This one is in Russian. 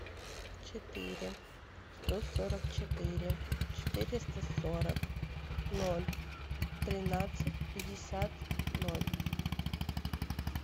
четыре сто сорок четыре четыреста сорок ноль тринадцать пятьдесят ноль